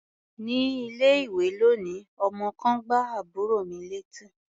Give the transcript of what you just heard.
Ní ilé-ìwé lónìí, ọmọ kan gbá àbúrò mi létí.